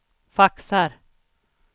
faxar